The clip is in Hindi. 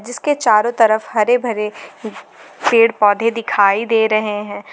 जिसके चारों तरफ हरे भरे पेड़ पौधे दिखाई दे रहे हैं।